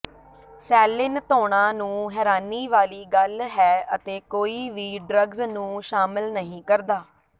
ਸੈਲਿਨ ਧੋਣਾਂ ਨੂੰ ਹੈਰਾਨੀ ਵਾਲੀ ਗੱਲ ਹੈ ਅਤੇ ਕੋਈ ਵੀ ਡਰੱਗਜ਼ ਨੂੰ ਸ਼ਾਮਲ ਨਹੀਂ ਕਰਦਾ